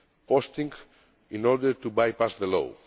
posting in order to by pass the law.